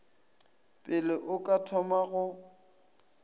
pele o ka thoma go